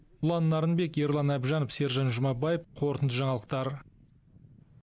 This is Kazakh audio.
ұлан нарынбек ерлан әбжанов сержан жұмабаев қорытынды жаңалықтар